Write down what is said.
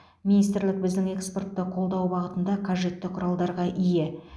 министрлік біздің экспортты қолдау бағытында қажетті құралдарға ие